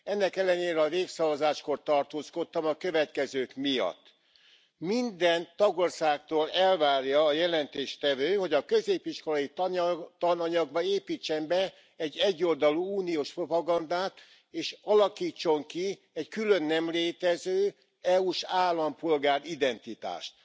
Ennek ellenére a népszavazáskor tartózkodtam a következők miatt minden tagországtól elvárja a jelentéstevő, hogy a középiskolai tananyagba építsen be egy egyoldalú uniós propagandát, és alakítson ki egy külön nem létező, EU s állampolgár identitást.